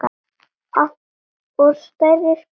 Og stærri spjót voru fengin.